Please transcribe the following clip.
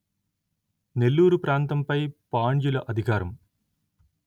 నెల్లూరు ప్రాంతంపై పాండ్యుల అధికారం